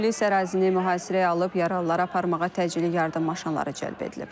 Polis ərazini mühasirəyə alıb, yaralıları aparmağa təcili yardım maşınları cəlb edilib.